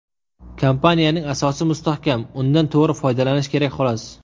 Kompaniyaning asosi mustahkam, undan to‘g‘ri foydalanish kerak xolos.